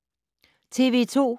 TV 2